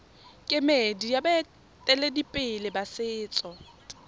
kemedi ya baeteledipele ba setso